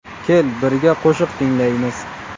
Kel birga qo‘shiq tinglaymiz.